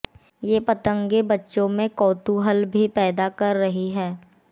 ये पतंगें बच्चों में कौतूहल भी पैदा कर रही हैं